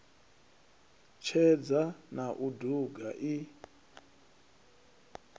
tshedza na u duga i